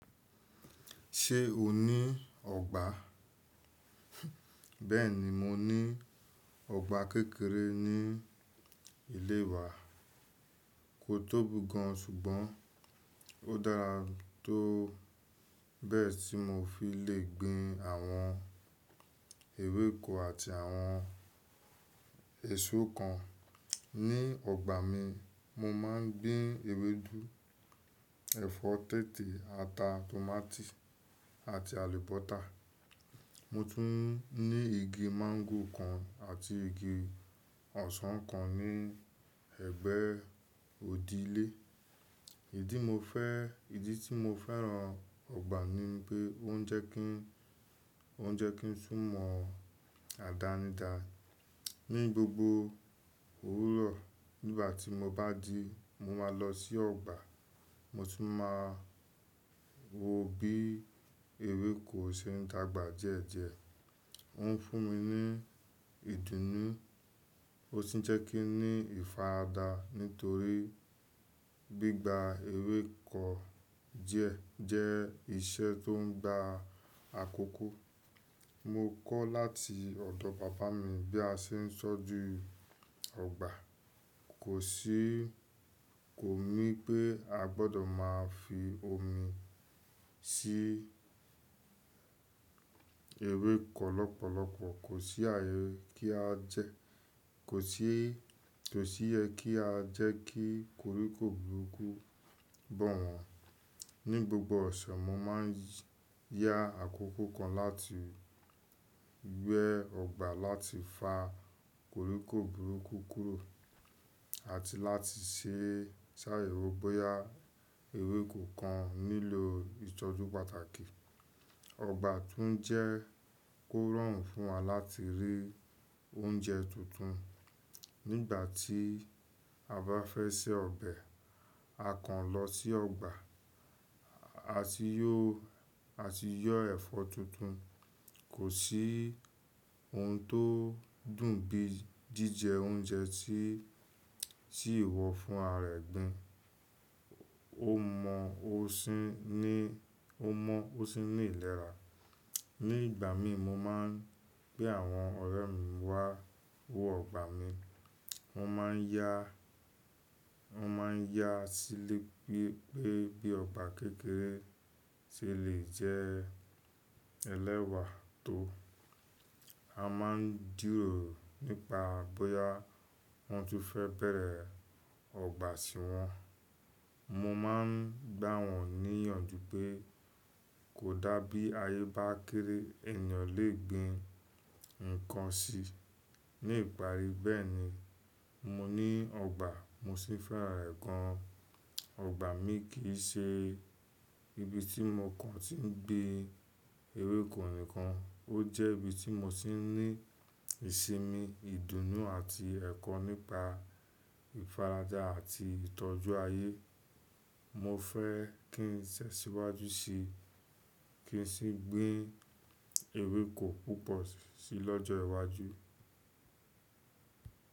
Ṣé o ní ọgbà? Bẹ́ẹ̀ni, mo ní ọgbà kékeré ní ilé wa. Kò tóbi gan, ṣùgbọ́n ó dára tó bẹ́ẹ̀ tí mo fi lè gbìn àwọn ewéko àti àwọn èso kan. Ní ọgbà mi, mo máà n gbìn ewédú, ẹ̀fọ́ tẹ́tẹ́, ata, tòmátì àti àlùbọ́sà. Mo tún ní igi mango kan àti igi ọsàn kan ní ẹ̀gbẹ́ ìdílé. Ìdí mo fẹ́, ìdí tí mo fẹ́ràn ọgbà ni pé ó n jẹ́ kí, ó n jẹ́ kí n sún mọ́ adánidá. Ní gbogbo òwúrọ̀ nígbàtí mo bá jí, mo máa lọ sí ọ̀gbà. Mo tún máa wo bí ewéko ṣe n dàgbà díẹ̀díẹ̀. Ó n fún mi ní ìdùnnú. Ó sì n jẹ́ kí n ní ìfaradà nítorí gbígbà ewéko díẹ̀ jẹ́ iṣẹ́ tó n gba àkókò. Mo kọ́ láti ọ̀dọ̀ bàbá mi bí a ṣe n tọ jú ọ̀gbà. Kò sí, kò mí pé a gbọdọ máa fi omi sí ewéko lọ́pọ̀lọpọ̀. Kò sí ààyè kí a jẹ, kò sí, kò sí ẹ kí a jẹ́ kí koríko burúkú bá wọn. Ní gbogbo ọ̀sẹ̀, mo máa n yá àkókò kan láti gbẹ́ ọ̀gbà láti fa koríko burúkú kúrò àti láti ṣe sáà yẹ̀wò bóyá ewéko kan nílò ìtọ́jú pàtàkì. Ọ̀gbà tún jẹ́ kó rọrùn fún wa láti rí oúnjẹ tuntun. Nígbà tí a bá fẹ́ sè ọbẹ̀, a kaàn lọ sí ọ̀gbà, a sì yọ, a sì yọ ẹ̀fọ́ tuntun. Kò sí ohun tó dùn bí jíjẹ oúnjẹ tí, tí ìwọ fún ara rẹ gùn. Ó mọ́, ó sì n ní, ó mọ́ ó sì ní ìlera. Ní ìgbà mí mo máa n pè àwọn ọ̀rẹ́ mi wá wo ọ̀gbà mi. Wọ́n máa n yá, wọ́n máa n yá sílẹ̀ pé, pé bí ọ̀gbà kékeré ṣe lè jẹ́ ẹlẹ́wà tó. A máa n dúró nípa bóyá wọ́n tún fẹ́ bẹ̀rẹ̀ ọ̀gbà sí wọn. Moómáa n gbà wọ́n níyànjú pé kò dá bí ayé bá kéré ènìyàn lè gbìn nǹkan sí. Ní ìparí bẹ́ẹ̀ni, mo ní ọ̀gbà mo sì fẹ́ràn rẹ̀ gan. Ọ̀gbà mi kì í ṣe ibi tí mo kàn ti n gbìn ewéko nìkan, ó jẹ́ ibi tí mo ti n ní ìsinmi, ìdùnnú àti ẹ̀kọ́ nípa ìfarajà àti ìtọ́jú ayé. Mo fẹ́ kín ṣe síwájú ṣí, kí n sì gbìn ewéko púpọ̀ sí lọ́jọ́ iwájú.